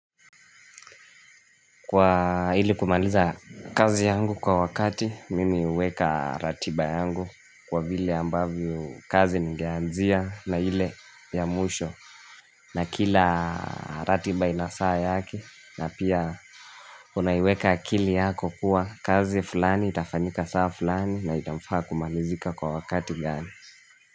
Kwa ili kumaliza kazi yangu kwa wakati, mimi huweka ratiba yangu kwa vile ambavyo kazi nigeanzia na ile ya mwisho na kila ratiba inasaa yake na pia unaiweka akili yako kuwa kazi fulani, itafanyika saa fulani na itamfaa kumalizika kwa wakati gani.